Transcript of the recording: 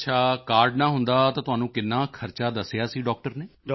ਅੱਛਾ ਕਾਰਡ ਨਾ ਹੁੰਦਾ ਤਾਂ ਤੁਹਾਨੂੰ ਕਿੰਨਾ ਖਰਚਾ ਦੱਸਿਆ ਸੀ ਡਾਕਟਰ ਨੇ